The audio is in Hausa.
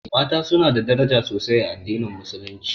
Mata su na da daraja sosai a addinin musulunci